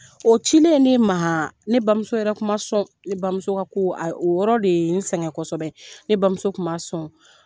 O cilen ne ma ne bamuso yɛrɛ kuma sɔn, ne bamuso ka ko a o yɔrɔ de ye sɛgɛn kosɛbɛ ne bamuso kuma sɔn.